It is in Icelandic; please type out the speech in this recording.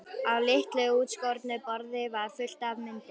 Á litlu útskornu borði var fullt af myndum.